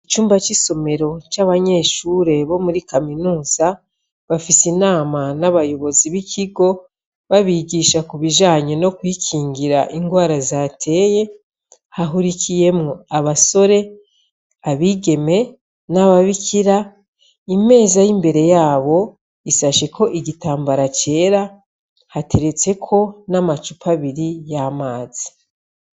Icumba c' isomero c' abanyeshure bo muri kaminuza, bafise inama n' abayobozi bikigo, babigisha ku bijanye no kwikingira ingwara zateye, hahurikiyemwo abasore, abigeme n' ababikira, imeza y' imbere yabo, isasheko igitambara cera, hateretseko n' amacupa abiri y' amazi.